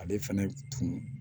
Ale fɛnɛ tun